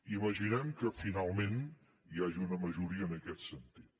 imaginem que finalment hi hagi una majoria en aquest sentit